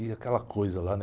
E aquela coisa lá, né?